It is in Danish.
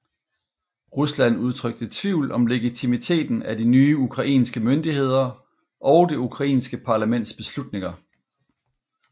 Rusland udtrykte tvivl om legitimiteten af de nye ukrainske myndigheder og det ukrainske parlamentets beslutninger